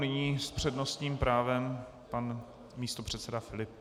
Nyní s přednostním právem pan místopředseda Filip.